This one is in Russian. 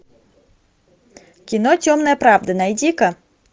кино темная правда найди ка